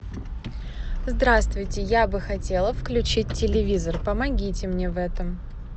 здравствуйте я бы хотела включить телевизор помогите мне в этом